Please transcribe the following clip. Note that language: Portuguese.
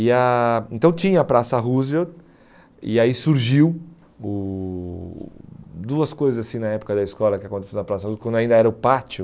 E a Então tinha a Praça Roosevelt e aí surgiu o duas coisas assim na época da escola que aconteciam na Praça Roosevelt, quando ainda era o pátio.